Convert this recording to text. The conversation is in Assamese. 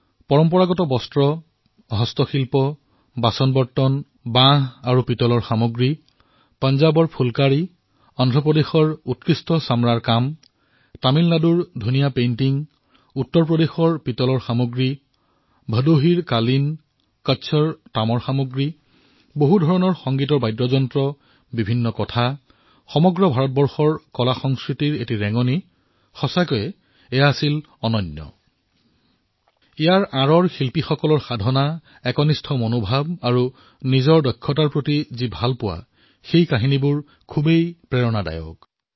পাৰম্পৰিক বস্ত্ৰ হস্তশিল্প দলিচা বাচন বাঁহ আৰু পিতলৰ সামগ্ৰী পাঞ্জাৱৰ ফুলকাৰী অন্ধ্ৰ প্ৰদেশৰ সুন্দৰ চামৰাৰ কাম তামিলনাডুৰ সুন্দৰ চিত্ৰ উত্তৰ প্ৰদেশৰ পিতলৰ সামগ্ৰী ভদোহীৰ দলিচা কচ্ছৰ তামৰ সামগ্ৰী অনেক সংগীত বাদ্যযন্ত্ৰ অসংখ্য কথা সমগ্ৰ ভাৰতৰ কলা আৰু সংস্কৃতিৰ এক চমক সেয়া সঁচাকৈয়ে অভুতপূৰ্ব আছিল শিল্পকাৰসকলৰ সাধনা নিষ্ঠা আৰু নিজৰ প্ৰতিভাৰ প্ৰতি প্ৰেম এয়া সকলো প্ৰেৰণাদায়ী আছিল